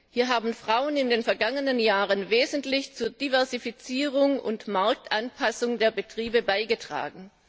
Hier haben Frauen in den vergangenen Jahren wesentlich zur Diversifizierung und Marktanpassung der Betriebe beigetragen.